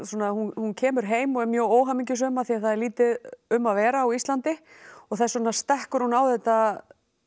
hún kemur heim og er mjög óhamingjusöm af því það er lítið um að vera á Íslandi og þess vegna stekkur hún á þetta